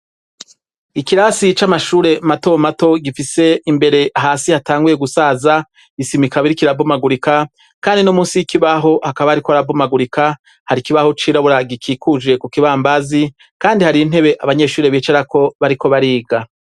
Ikirasi c'amashure matomato gifise imbere hasi hatanguye gusaza isimi ikaba lriko irabomagurika kandi no munsi y'ikibaho hakaba hariko harabomagurika. Har'ikibaho cirabura gikikuje kukibambazi kandi har'intebe abanyeshuri bicarako bariko bariga.